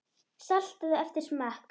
Saltaðu eftir smekk.